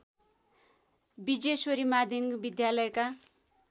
विजेश्वरी माध्यमिक विद्यालयका